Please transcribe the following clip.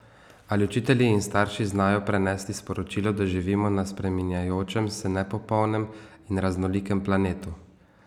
Ali učitelji in starši znajo prenesti sporočilo, da živimo na spreminjajočem se, nepopolnem in raznolikem planetu?